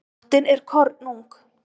Nóttin er kornung.